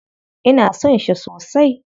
Ina son shi sosai.